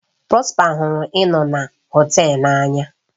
Prosper hụrụ ịnọ na họtel n'anya.